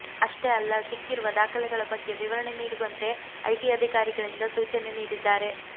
ಅಷ್ಟೇ ಅಲ್ಲ ಸಿಕ್ಕಿರುವ ದಾಖಲೆಗಳ ಬಗ್ಗೆ ವಿವರಣೆ ನೀಡುವಂತೆ ಐಟಿ ಅಧಿಕಾರಿಗಳಿಂದ ಸೂಚನೆ ನೀಡಿದ್ದಾರೆ